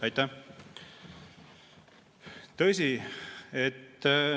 Aitäh!